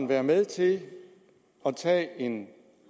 være med til at tage en